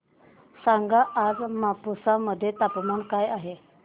सांगा आज मापुसा मध्ये तापमान काय आहे